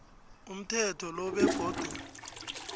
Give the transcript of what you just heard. umthetho lo begodu